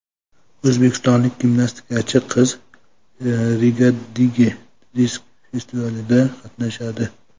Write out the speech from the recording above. O‘zbekistonlik gimnastikachi qiz Rigadagi sirk festivalida qatnashadi.